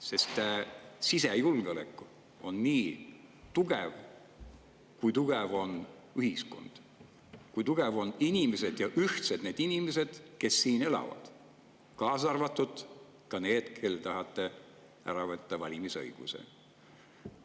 Sest sisejulgeolek on nii tugev, kui tugev on ühiskond, kui tugevad on inimesed ja kui ühtsed on need inimesed, kes siin elavad, kaasa arvatud need, kellelt tahate ära võtta valimisõiguse.